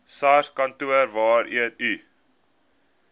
sarskantoor waarheen u